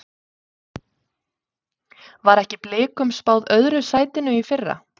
Var ekki Blikum spáð öðru sætinu í fyrra?